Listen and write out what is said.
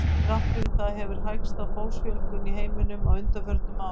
Þrátt fyrir það hefur hægst á fólksfjölgun í heiminum á undanförnum árum.